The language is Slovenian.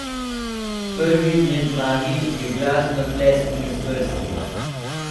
Prvi med magi je glasno tlesknil s prsti.